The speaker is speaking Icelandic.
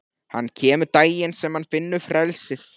Hann kemur daginn sem hann finnur frelsið.